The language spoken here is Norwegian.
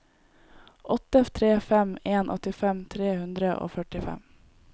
åtte tre fem en åttifem tre hundre og førtifem